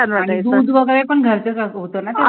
आणि दूध वैगेरे पण घरचं च होतं ना